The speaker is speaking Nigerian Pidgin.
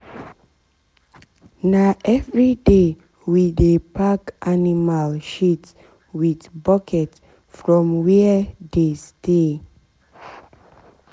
na everyday we dey pack animal shit with bucket from where dem dey stay.